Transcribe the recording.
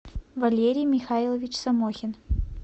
валерий михайлович самохин